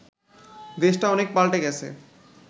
দেশটা অনেক পাল্টে গেছে